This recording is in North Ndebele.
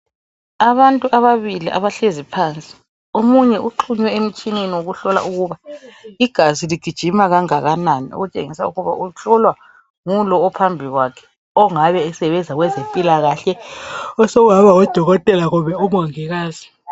Abantu ababili abahlezi phansi omunye uxhunywe emitshineni wokuhlola ukuba igazi ligijima kangakanani okutshengisa ukuba uhlolwa ngulo ophambi kwakhe ongabe esebenza kwabezempilakahle osokungaba ngodokotela kumbe amongikazi.